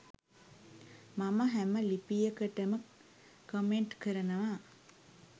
මම හැම ලිපියකටම කමෙන්ට් කරනවා.